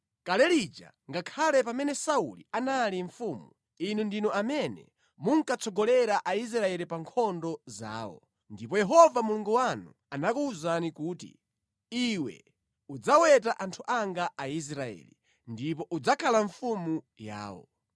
Kale lija, ngakhale pamene Sauli anali mfumu, inu ndinu amene munkatsogolera Aisraeli pa nkhondo zawo. Ndipo Yehova Mulungu wanu anakuwuzani kuti, ‘Iwe udzaweta anthu anga Aisraeli, ndipo udzakhala mfumu yawo.’ ”